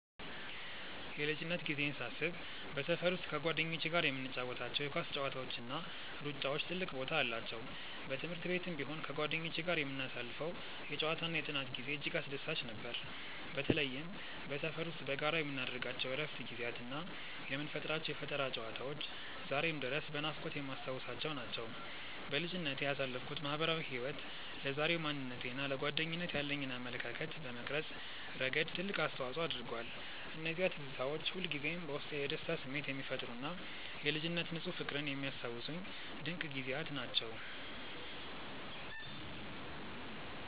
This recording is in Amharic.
የልጅነት ጊዜዬን ሳስብ በሰፈር ውስጥ ከጓደኞቼ ጋር የምንጫወታቸው የኳስ ጨዋታዎችና ሩጫዎች ትልቅ ቦታ አላቸው። በትምህርት ቤትም ቢሆን ከጓደኞቼ ጋር የምናሳልፈው የጨዋታና የጥናት ጊዜ እጅግ አስደሳች ነበር። በተለይም በሰፈር ውስጥ በጋራ የምናደርጋቸው የእረፍት ጊዜያትና የምንፈጥራቸው የፈጠራ ጨዋታዎች ዛሬም ድረስ በናፍቆት የማስታውሳቸው ናቸው። በልጅነቴ ያሳለፍኩት ማህበራዊ ህይወት ለዛሬው ማንነቴና ለጓደኝነት ያለኝን አመለካከት በመቅረጽ ረገድ ትልቅ አስተዋጽኦ አድርጓል። እነዚያ ትዝታዎች ሁልጊዜም በውስጤ የደስታ ስሜት የሚፈጥሩና የልጅነት ንፁህ ፍቅርን የሚያስታውሱኝ ድንቅ ጊዜያት ናቸው።